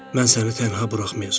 Mən səni tənha buraxmayacam.